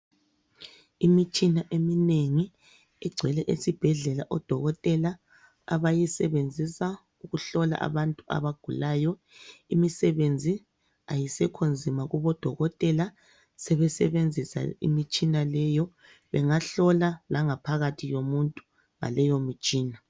Imitshina eminengi igcwele esibhedlela odokotela abayisebenzisa ukuhlola abantu abagulayo, imisebenzi ayisekho nzima kubodokotela sebesebenzisa imitshina leyo, bengahlola langaphakathi yomuntu ngaleyomitshina.